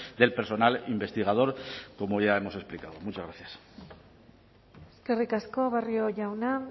del personal investigador como ya hemos explicado muchas gracias eskerrik asko barrio jauna